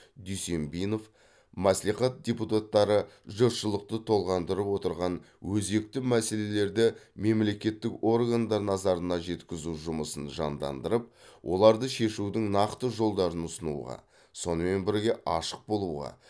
дүйсенбинов мәслихат депутаттары жұртшылықты толғандырып отырған өзекті мәселелерді мемлекеттік органдар назарына жеткізу жұмысын жандандырып оларды шешудің нақты жолдарын ұсынуға сонымен бірге ашық болуға